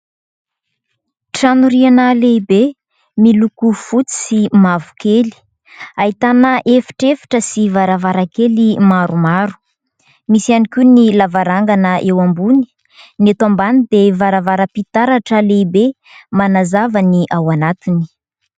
Trano riana lehibe, miloko fotsy sy mavokely, ahitana efitra efitra sy varavarakely maromaro misy iany koa ny lavarangana eo ambony, ny eto ambany dia varavaram-pitaratra lehibe manazava ny ao anatiny.